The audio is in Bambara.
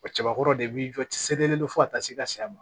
O cɛbakɔrɔ de b'i jɔ ci serilen don fo ka taa se ka s'a ma